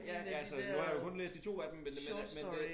Ja altså nu har jeg jo kun læst de 2 af dem men men men det